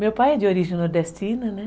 Meu pai é de origem nordestina, né?